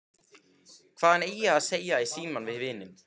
Hvað hann eigi að segja í símann við vininn.